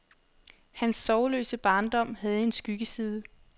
Hans sorgløse barndom havde en skyggeside.